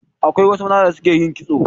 Akwai wasu maza da su ke yin kitso